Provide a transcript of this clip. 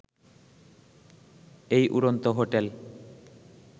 এই উড়ন্ত হোটেল